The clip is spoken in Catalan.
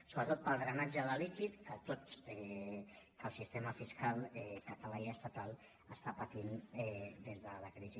sobretot pel drenatge de líquid que el sistema fiscal català i estatal estan patint des de la crisi